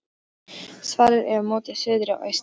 Svalir eru móti suðri og austri.